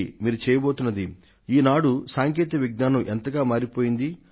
మీరు చెయ్యబోతున్నది ఏమిటి ఈనాడు సాంకేతిక విజ్ఞానం ఎంతగా మారిపోయింది